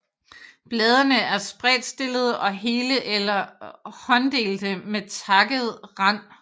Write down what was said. Bladene er spredtstillede og hele eller hånddelte med takket rand